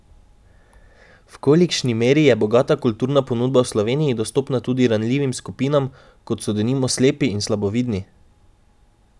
V kolikšni meri je bogata kulturna ponudba v Sloveniji dostopna tudi ranljivim skupinam, kot so denimo slepi in slabovidni?